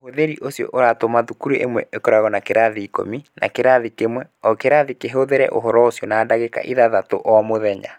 Ũhũthĩri ũcio ũratũma thukuru ĩmwe ĩkoragwo na kĩrathi ikũmi na kĩrathi kĩmwe o kĩrathi kĩhũthĩre ũhoro ũcio na ndagĩka ithathatũ o mũthenya.